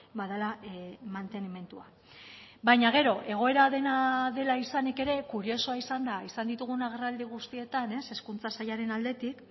badela mantenimendua baina gero egoera dena dela izanik ere kuriosoa izan da izan ditugun agerraldi guztietan hezkuntza sailaren aldetik